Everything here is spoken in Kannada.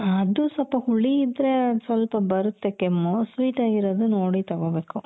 ಹ ಅದು ಸ್ವಲ್ಪ ಹುಳಿ ಇದ್ರೆ ಅದ್ ಸ್ವಲ್ಪ ಬರುತ್ತೆ ಕೆಮ್ಮು sweet ಅಗಿರೋದು ನೋಡಿ ತಗೋಬೇಕು .